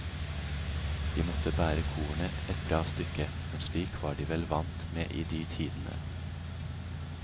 De måtte bære kornet et bra stykke, men slik var de vel vant med i de tidene.